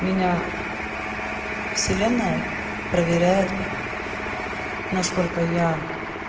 меня вселенная проверяет насколько я